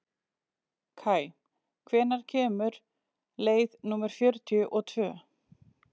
Kaj, hvenær kemur leið númer fjörutíu og tvö?